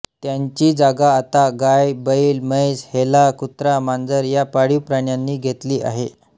त्यांची जागा आता गाय बैल म्हैस हेला कुत्रा मांजर या पाळीव प्राण्यांनी घेतली आहे